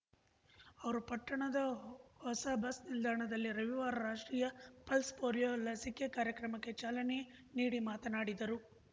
ಅವರು ಪಟ್ಟಣದ ಹೊಸ ಬಸ್ ನಿಲ್ದಾಣದಲ್ಲಿ ರವಿವಾರ ರಾಷ್ಟ್ರೀಯ ಪಲ್ಸ್ ಪೋಲಿಯೋ ಲಸಿಕೆ ಕಾರ್ಯಕ್ರಮಕ್ಕೆ ಚಾಲನೆ ನೀಡಿ ಮಾತನಾಡಿದರು